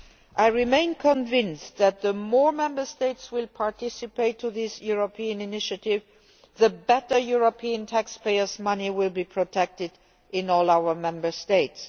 I remain convinced that the more Member States participate in this European initiative, the better European taxpayers' money will be protected in all our Member States.